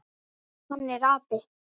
Hann er api.